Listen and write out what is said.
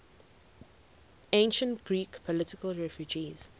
ancient greek political refugees